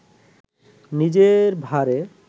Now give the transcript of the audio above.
নিজের ভারে